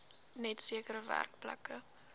net sekere werkplekke